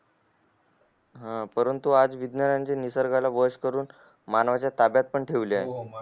परंतु आज विज्ञान निसर्गाने वंश करून मानव ला ताब्यात पण ठेवले आहे